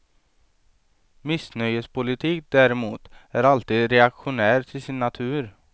Missnöjespolitik däremot är alltid reaktionär till sin natur.